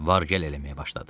Var-gəl eləməyə başladı.